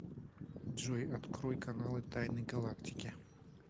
джой открой каналы тайны галактики